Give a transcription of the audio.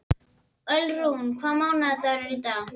Ölrún, hvaða mánaðardagur er í dag?